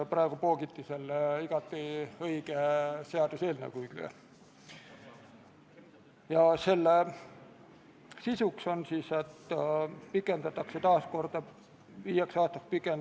Kaitseministeeriumi ametnikud esindasid eelnõu esitajat ja nemad toetasid riigikaitsekomisjoni tehtud eelnimetatud täpsustust.